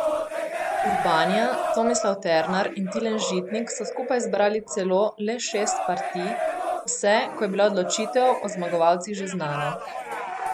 Urbanija, Tomislav Ternar in Tilen Žitnik so skupaj zbrali celo le šest partij, vse, ko je bila odločitev o zmagovalcih že znana.